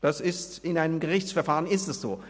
Das ist in einem Gerichtsverfahren so.